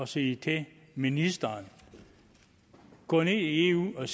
sige til ministeren gå ned i eu og